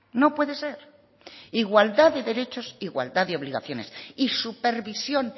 no puede ser igualdad de derechos igualdad de obligaciones y supervisión